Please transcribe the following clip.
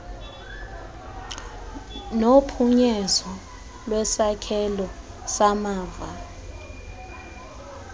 nophunyezo lwesakhelo samava